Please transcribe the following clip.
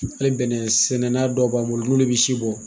Hali bɛnɛn sɛnɛnna dɔ b'an bolo n'olu bi si bɔ